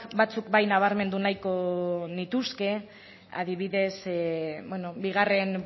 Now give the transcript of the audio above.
batzuk bai nabarmendu nahiko nituzke adibidez bigarren